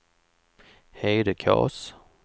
Hedekas